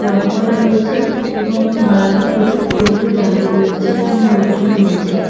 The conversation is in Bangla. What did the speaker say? রং করা রয়েছে এবং বাইরে প্রচুর টোটো দাঁড়িয়ে রয়েছে এবং লোকজন রয়েছে ।